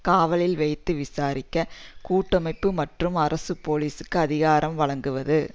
காவலில் வைத்து விசாரிக்க கூட்டமைப்பு மற்றும் அரசு போலீசுக்கு அதிகாரம் வழங்குவது